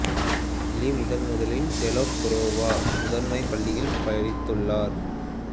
லீ முதன் முதலில் Telok Kurau முதன்மைப் பள்ளியில் படித்துள்ளார்